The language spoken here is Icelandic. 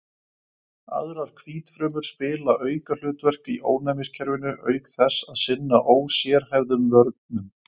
Aðrar hvítfrumur spila aukahlutverk í ónæmiskerfinu auk þess að sinna ósérhæfðum vörnum.